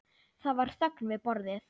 Það var þögn við borðið.